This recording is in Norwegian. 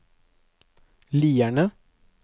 Lierne